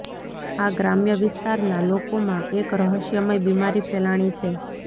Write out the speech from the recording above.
આ ગ્રામ્ય વિસ્તાર ના લોકો માં એક રહસ્યમય બીમારી ફેલાણી છે